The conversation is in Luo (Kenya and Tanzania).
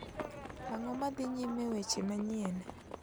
Ang'o madhi nyime e weche manyien